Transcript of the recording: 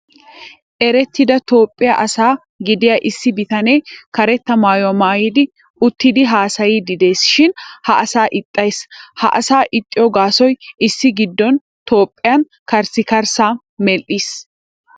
Erettida toophphiya asa gidiya issi bitanee karetta maayuwa maayidi uttidi haasayyiddi des shin ha asa ixxayis. Ha asa ixxiyo gaasoy issi giddon toophphiyan karssi karssaa medhdhis.